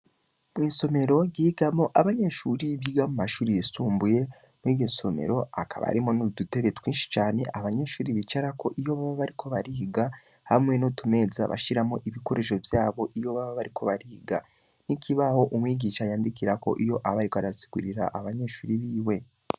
Mwisomero ryigamwo abanyeshure biga mumashure yisumbuye mwiryosomero Hakaba harimwo nudutebe twinshi Cane abanyeshure bicarako iyo bobo baba bariko bariga hamwe nutumeza bashiramwo Udukoresho twabo iyo baba bariko bariga. nikibaho umwigisha yandikirako iyo baba barasigurirana .